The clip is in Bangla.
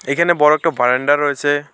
এখানে বড় একটা বারান্দা রয়েছে।